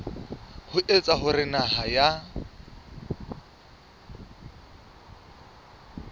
ho etsa hore naha ya